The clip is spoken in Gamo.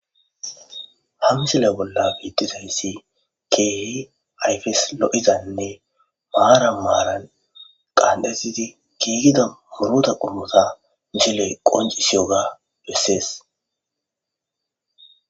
Ha misile bolla betizays keehi atfes lo'izanne maran maran qanxetid giigida muruta qomota misiley qoncisiyoga beses